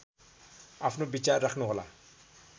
आफ्नो विचार राख्नुहोला